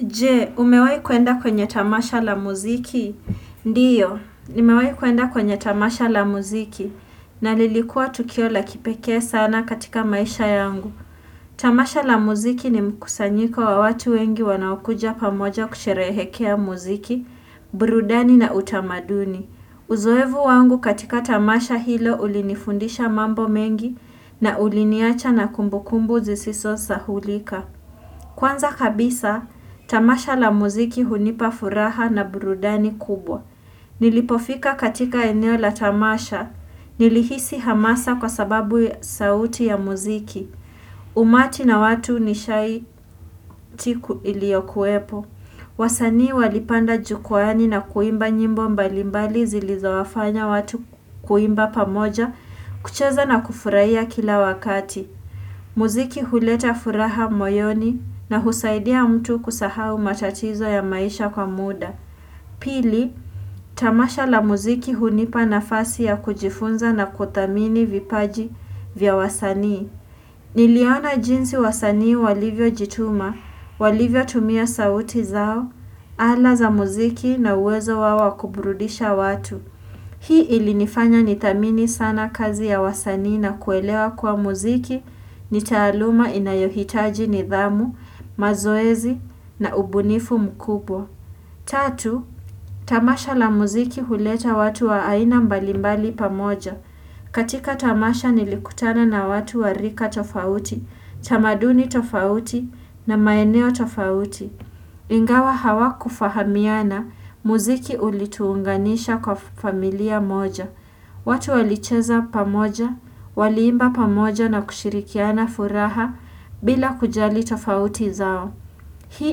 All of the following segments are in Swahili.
Jee, umewai kuenda kwenye tamasha la muziki? Ndiyo, nimewai kuenda kwenye tamasha la muziki na lilikua tukio la kipekee sana katika maisha yangu. Tamasha la muziki ni mkusanyiko wa watu wengi wanaokuja pamoja kusherehekea muziki, brudani na utamaduni. Uzoevu wangu katika tamasha hilo ulinifundisha mambo mengi na uliniacha na kumbu kumbu zisisosahulika. Kwanza kabisa, tamasha la muziki hunipa furaha na burudani kubwa. Nilipofika katika eneo la tamasha. Nilihisi hamasa kwa sababu sauti ya muziki. Umati na watu nishai tiku iliokuepo. Wasanii walipanda jukwani na kuimba nyimbo mbalimbali zilizowafanya watu kuimba pamoja kucheza na kufuraia kila wakati. Muziki huleta furaha moyoni na husaidia mtu kusahau matatizo ya maisha kwa muda. Pili, tamasha la muziki hunipa nafasi ya kujifunza na kutamini vipaji vya wasanii. Niliona jinsi wasanii walivyo jituma, walivyo tumia sauti zao, ala za muziki na uwezo wao wa kuburudisha watu. Hii ilinifanya nithamini sana kazi ya wasanii na kuelewa kuwa muziki ni taaluma inayohitaji nidhamu, mazoezi na ubunifu mkubwa. Tatu, tamasha la muziki huleta watu wa aina mbalimbali pamoja. Katika tamasha nilikutana na watu wa rika tofauti, chamaduni tofauti na maeneo tofauti. Ingawa hawakufahamiana muziki ulituunganisha kwa familia moja. Watu walicheza pamoja, waliimba pamoja na kushirikiana furaha bila kujali tofauti zao. Hii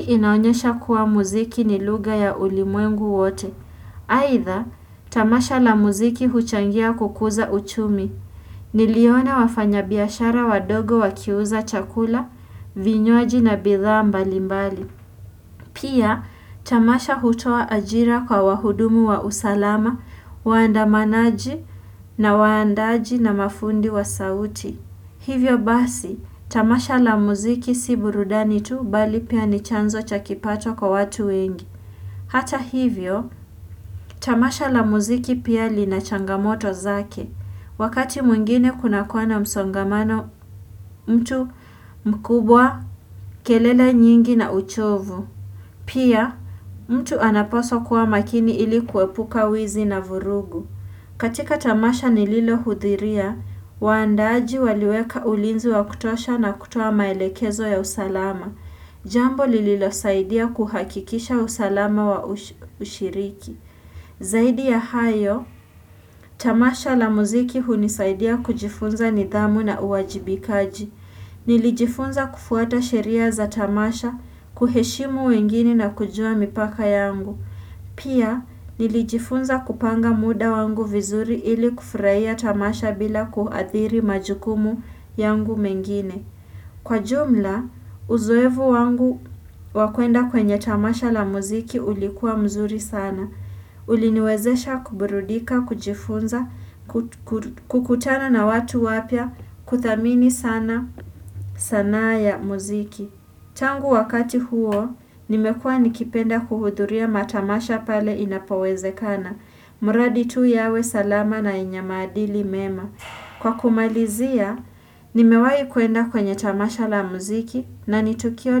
inaonyesha kuwa muziki ni luga ya ulimwengu wote. Haidha, tamasha la muziki huchangia kukuza uchumi. Niliona wafanya biashara wadogo wakiuza chakula, vinywaji na bidhaa mbalimbali. Pia, tamasha hutoa ajira kwa wahudumu wa usalama, waandamanaji na waandaji na mafundi wa sauti. Hivyo basi, tamasha la muziki si burudani tu bali pia ni chanzo cha kipato kwa watu wengi. Hata hivyo, tamasha la muziki pia lina changamoto zake. Wakati mwingine kuna kuwa na msongamano mtu mkubwa kelele nyingi na uchovu. Pia, mtu anapaswa kuwa makini ili kuepuka wizi na vurugu. Katika tamasha nililo hudhiria, waandaji waliweka ulinzi wa kutosha na kutoa maelekezo ya usalama. Jambo lililosaidia kuhakikisha usalama wa ushiriki. Zaidi ya hayo, tamasha la muziki hunisaidia kujifunza nidhamu na uwajibikaji. Nilijifunza kufuata sheria za tamasha, kuheshimu wengine na kujua mipaka yangu. Pia, nilijifunza kupanga muda wangu vizuri ili kufuraia tamasha bila kuathiri majukumu yangu mengine. Kwa jumla, uzoevu wangu wa kuenda kwenye tamasha la muziki ulikuwa mzuri sana. Uliniwezesha kuburudika, kujifunza, kukutana na watu wapya, kuthamini sana, sanaa ya muziki. Tangu wakati huo, nimekua nikipenda kuhudhuria matamasha pale inapowezekana. Muradi tu yawe salama na yenye maadili mema. Kwa kumalizia, nimewahi kuenda kwenye tamasha la muziki na ni Tukio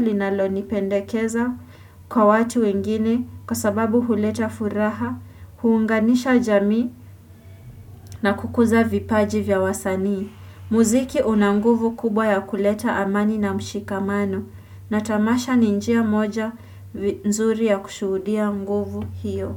linalonipendekeza kwa watu wengine kwa sababu huleta furaha, huunganisha jamii na kukuza vipaji vya wasanii. Muziki una nguvu kubwa ya kuleta amani na mshikamano na tamasha ni njia moja nzuri ya kushuhudia nguvu hiyo.